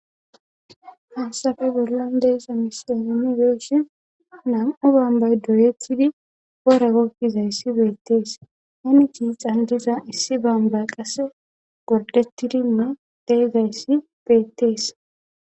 Hayssafe bollan de'iza a misiyan nuu be'ishshin nam'u bambay doyetidi woora goggizayssi beettees heni tiixan diza issi bamba qasse gordettidinne de'izayssi beettees